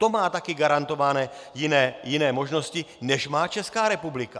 To má také garantované jiné možnosti, než má Česká republika.